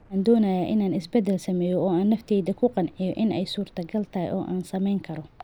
Waxaan doonayaa in aan isbeddel sameeyo oo aan naftayda ku qanciyo in ay suurtogal tahay oo aan samayn karo."